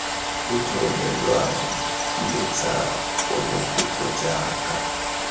utlwelelwang le tsa ponokutlo jaaka